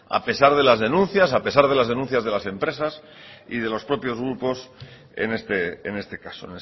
a pesar de las denuncias a pesar de las denuncias de las empresas y de los propios grupos en este caso